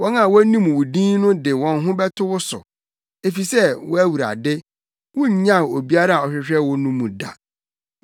Wɔn a wonim wo din no de wɔn ho bɛto wo so, efisɛ, wo Awurade, wunnyaw obiara a ɔhwehwɛ wo no mu da.